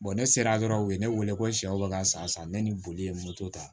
ne sera dɔrɔn u ye ne wele ko sɛw bɛ ka n sa sa ne ni boli ye moto ta